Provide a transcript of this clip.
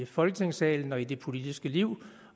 folketingssalen og i det politiske liv